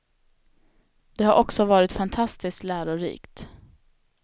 Det har också varit fantastiskt lärorikt.